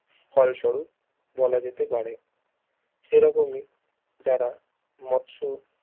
ফলস্বরূপ বলাযেতে পারে সেরকমই যারা মৎস